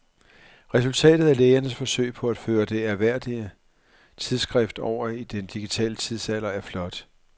Resultatet af lægernes forsøg på at føre det ærværdige tidsskrift over i den digitale tidsalder er flot.